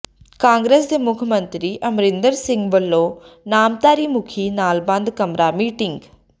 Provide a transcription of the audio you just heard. ਕਾਂਗਰਸ ਦੇ ਮੁੱਖ ਮੰਤਰੀ ਅਮਰਿੰਦਰ ਸਿੰਘ ਵਲੋਂ ਨਾਮਧਾਰੀ ਮੁਖੀ ਨਾਲ ਬੰਦ ਕਮਰਾ ਮੀਟਿੰਗ